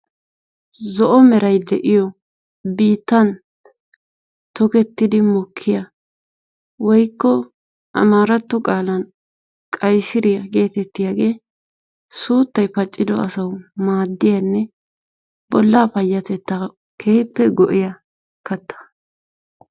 Zo'o meray de'iyo biittan tokettidi mokkiya woikko amarato qaalan qaysiriya geettetiyaagee suuttay paccido asawu maaddiyanne bolla payatettaa keehiippe go'iya katta.